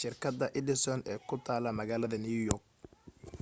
shirkada edison ee ku tala magalada new york